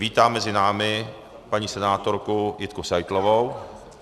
Vítám mezi námi paní senátorku Jitku Seitlovou.